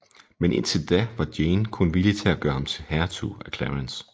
Men indtil da var Jane kun villig til at gøre ham til hertug af Clarence